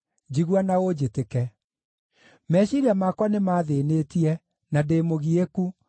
njigua na ũnjĩtĩke. Meciiria makwa nĩmathĩĩnĩtie na ndĩ mũgiĩku